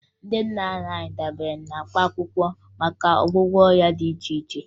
Ndị nna nna anyị dabere na mkpaakwụkwọ maka ọgwụgwọ ọrịa dị iche iche